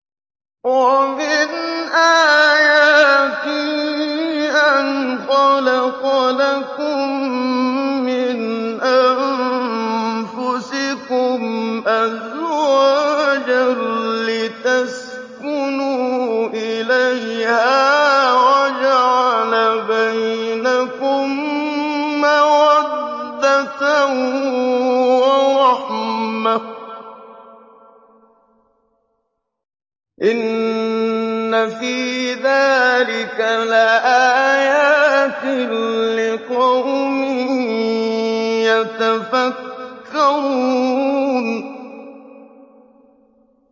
وَمِنْ آيَاتِهِ أَنْ خَلَقَ لَكُم مِّنْ أَنفُسِكُمْ أَزْوَاجًا لِّتَسْكُنُوا إِلَيْهَا وَجَعَلَ بَيْنَكُم مَّوَدَّةً وَرَحْمَةً ۚ إِنَّ فِي ذَٰلِكَ لَآيَاتٍ لِّقَوْمٍ يَتَفَكَّرُونَ